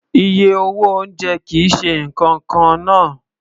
Iye owó oúnjẹ kì í ṣe nǹkan kan náà